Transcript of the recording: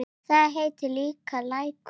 Þar heitir líka Lækur.